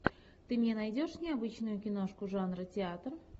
ты мне найдешь необычную киношку жанра театр